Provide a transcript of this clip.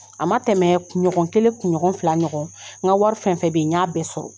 A ma tɛmɛ kunɲɔgɔn kelen kun ɲɔgɔn fila ɲɔgɔn n ka wari fɛn fɛn bɛ yen n y'a bɛɛ sɔrɔ